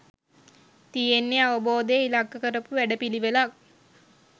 තියෙන්නේ අවබෝධය ඉලක්ක කරපු වැඩපිළිවෙලක්